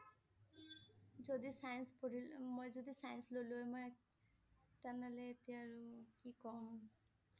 যদি Science পঢ়িল~মই যদি Science ললো হয় মই তেনেহলে এতিয়া আৰু কি কম